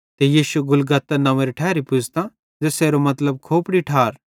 ते यीशु गुलगुता नंव्वेरी ठैरी पुज़े ज़ेसेरो मतलबे खोपड़ारी ठार